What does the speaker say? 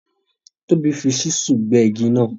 Tobi fi Ṣísù gbé igi náà